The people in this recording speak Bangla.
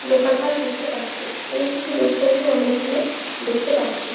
দোকান পাট দেখতে পারছি এবং কিছু লোকজনকেও আমরা এইখানে দেখতে পারছি।